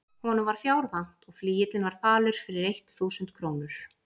Honum var fjár vant og flygillinn var falur fyrir eitt þúsund krónur.